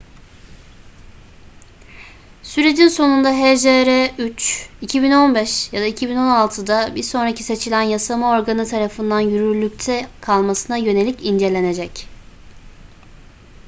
sürecin sonunda hjr-3 2015 ya da 2016'da bir sonraki seçilen yasama organı tarafından yürürlükte kalmasına yönelik incelenecek